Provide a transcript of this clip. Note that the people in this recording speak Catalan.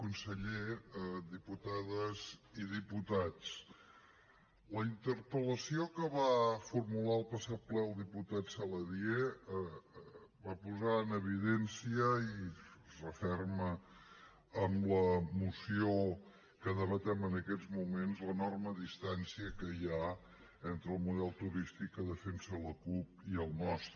conseller diputades i diputats la interpel·lació que va formular el passat ple el diputat saladié va posar en evidència i es referma amb la moció que debatem en aquests moments l’enorme distància que hi ha entre el model turístic que defensa la cup i el nostre